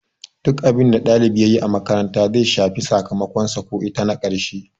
Duk abinda ɗalibi yayi a makaranta zai shafe sakamakon sa ko ita na karshe